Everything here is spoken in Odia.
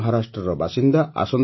ସେ ମହାରାଷ୍ଟ୍ରର ବାସିନ୍ଦା